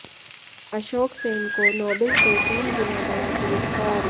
अशोक सेन को नोबेल से तीन गुना बड़ा पुरस्कार